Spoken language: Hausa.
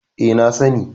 E, na sani.